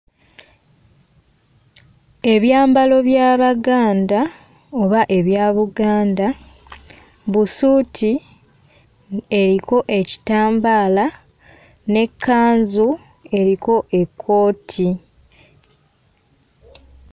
Ebyambalo by'Abaganda oba ebya Buganda busuuti mhm eyiko ekitambaala n'ekkanzu eyiko ekkooti.